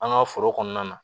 An ka foro kɔnɔna na